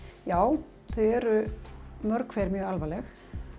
já þau eru mörg hver mjög alvarleg